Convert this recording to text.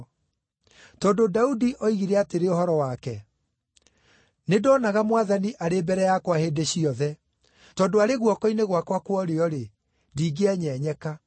Tondũ Daudi oigire atĩrĩ ũhoro wake: “ ‘Nĩndonaga Mwathani arĩ mbere yakwa hĩndĩ ciothe. Tondũ arĩ guoko-inĩ gwakwa kwa ũrĩo-rĩ, ndingĩenyenyeka.